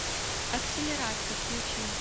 акселератка включи